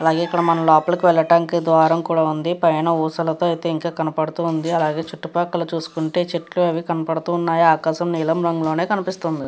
అలాగే ఇక్కడ మనం లోపలికి వెళ్ళటానికి ద్వారం కూడా ఉంది పైన ఊసలతో అయితే కనపడుతూ ఉంది. అలాగే చుట్టూ పక్కల చూసుకుంటే చెట్లు అవి కనపడుతూ ఉన్నాయి ఆకాశం నీలం రంగులోనే కనిపిస్తుంది.